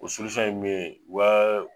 O ye min ye u kaa